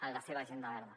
en la seva agenda verda